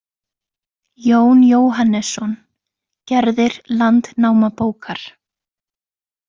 Jón Jóhannesson: Gerðir Landnámabókar.